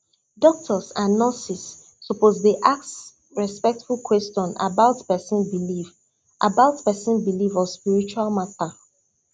doctors and nurses suppose dey ask respectful question about person belief about person belief or spiritual matter